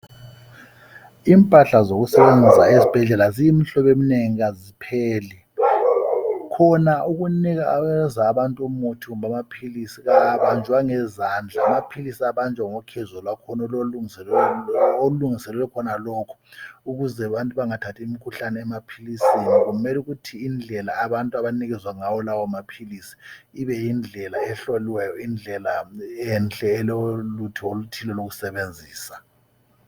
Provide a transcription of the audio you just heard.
Impahla zokusebenza ezibhedlela ziyimhlobo emnengi kazipheli , khona ukunikeza abantu umuthi kumbe amaphilisi kawabanjwa ngezandla , amaphilisi abanjwa ngokhezo kwakhona olwenzelwe khonalokho olulungiselwe khonalokho ukuze abantu bangathathi imkhuhlane emaphilisini kumele ukuthi indlela abantu abanikezwa ngawo lawo maphilisi ibe yindlela ehloliweyo , indlela enhle elolutho oluthile lokusebenzisa